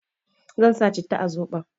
Zan sa citta a soɓon